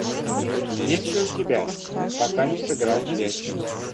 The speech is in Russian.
есть ли у тебя пока не сыграл в ящик